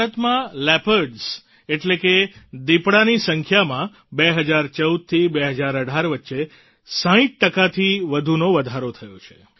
ભારતમાં લિયોપાર્ડસ એટલે કે દિપડાની સંખ્યામાં 2014થી 2018 વચ્ચે 60 ટકાથી વધુનો વધારો થયો છે